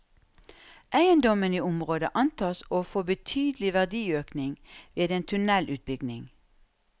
Eiendommene i området antas å få betydelig verdiøkning ved en tunnelutbygging.